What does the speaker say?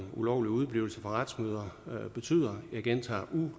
ulovlig udeblivelse fra retsmøder betyder og jeg gentager